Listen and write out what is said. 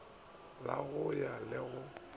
la go ya le go